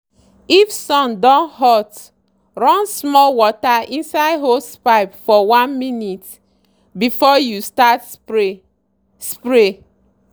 if sun don hot run small water inside hosepipe for 1 minute before you start spray. spray.